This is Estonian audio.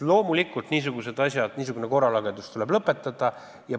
Loomulikult tuleb niisugused asjad, niisugune korralagedus lõpetada.